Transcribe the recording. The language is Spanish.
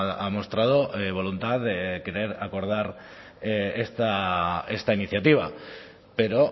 ha mostrado voluntad de acordar esta iniciativa pero